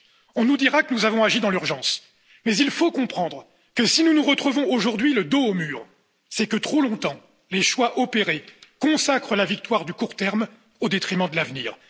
On nous dira que nous avons agi dans l'urgence, mais il faut comprendre que si nous nous retrouvons aujourd'hui le dos au mur, c'est que, trop longtemps, les choix opérés consacrent la victoire du court terme au détriment de l'avenir.